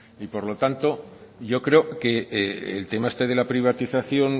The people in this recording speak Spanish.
y por lo tanto yo creo que el tema este de la privatización